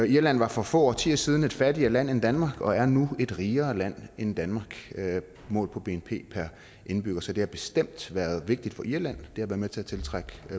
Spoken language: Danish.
irland var for få årtier siden et fattigere land end danmark men er nu et rigere land end danmark målt på bnp per indbygger så det har bestemt været vigtigt for irland da det med til at tiltrække